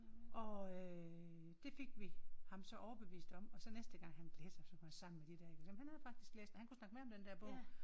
Og øh det fik vi ham så overbevist om og så næste gang han læste så sammen med de der ik jamen han havde faktisk læst den og han kunne snakke med om den der bog